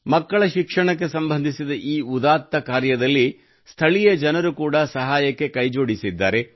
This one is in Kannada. ಮಕ್ಕಳ ಶಿಕ್ಷಣಕ್ಕೆ ಸಂಬಂಧಿಸಿದ ಈ ಉದಾತ್ತ ಕಾರ್ಯದಲ್ಲಿ ಸ್ಥಳೀಯ ಜನರು ಕೂಡಾ ಸಹಾಯಕ್ಕೆ ಕೈ ಜೋಡಿಸಿದ್ದಾರೆ